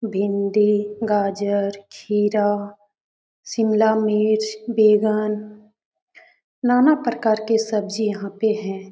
भिंडी गाजर खीरा शिमला मिर्च बैगन ना ना प्रकार के सब्जी यहां पे है।